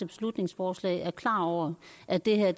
beslutningsforslag er klar over at det her